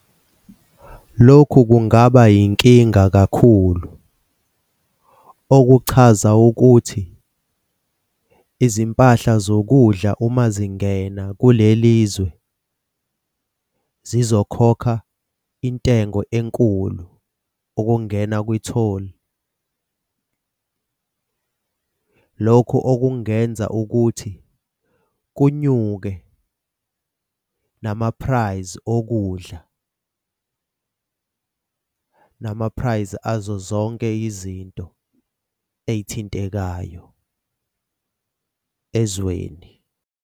Lokhu kungaba yinkinga kakhulu. Okuchaza ukuthi izimpahla zokudla uma zingena kulelizwe zizokhokha intengo enkulu ukungena kwi-toll lokho okungenza ukuthi kunyuke nama-price okudla, nama-price azo zonke izinto ey'thintekayo ezweni.